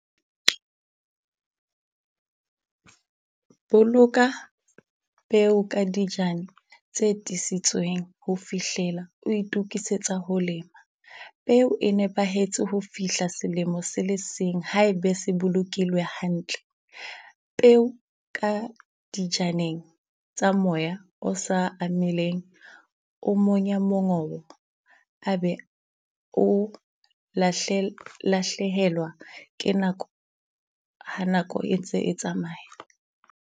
Boloka peo ka dijana tse tiiseditsweng ho fihlela o itokisetsa ho lema. Peo e nepahetse ho fihla selemo se le seng ha ebe se bolokilwe hantle. Peo ka dijaneng tsa moya o sa amileng o monya mongobo a be o lahlehelwa ke nako ha nako e ntse e tsamaya.